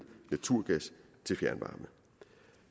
naturgas til fjernvarme